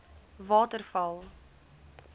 waterval